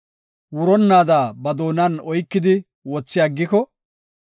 wuronnaada ba doonan oykidi, wothi aggiko,